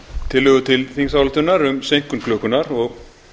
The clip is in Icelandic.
tillögu til þingsályktunar um seinkun klukkunnar og